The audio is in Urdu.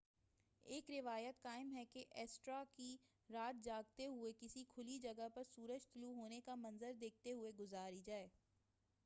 ایک روایت قائم ہے کہ ایسٹر کی رات جاگتے ہوئے کسی کھلی جگہ پر سورج طلوع ہونے کا منظر دیکھتے ہوئے گزاری جائے